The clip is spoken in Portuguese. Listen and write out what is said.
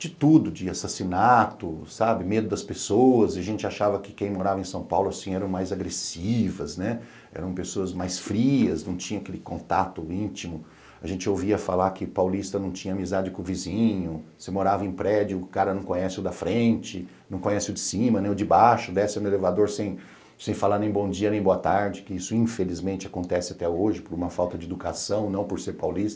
de tudo, de assassinato, sabe, medo das pessoas, a gente achava que quem morava em São Paulo assim eram mais agressivas, eram pessoas mais frias, não tinha aquele contato íntimo, a gente ouvia falar que paulista não tinha amizade com o vizinho, você morava em prédio, o cara não conhece o da frente, não conhece o de cima, nem o de baixo, desce no elevador sem sem falar nem bom dia, nem boa tarde, que isso infelizmente acontece até hoje por uma falta de educação, não por ser paulista,